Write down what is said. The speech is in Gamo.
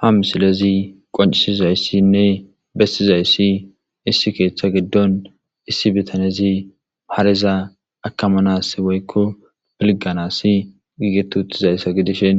ha misilezi qoncisizayssinne bessizayssi issi keeththa giddon issi bitanezi hareza akamanas woykko pilgganas giigetu uttizayssa gidishin